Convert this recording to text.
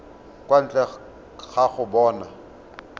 kwa ntle ga go bona